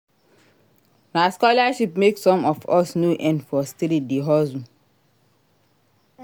Na scholarship make some of us no end for street dey hustle.